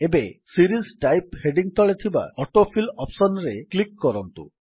ଏବେ series type heading ତଳେ ଥିବା ଅଟୋଫିଲ୍ ଅପ୍ସନ୍ ରେ କ୍ଲିକ୍ କରନ୍ତୁ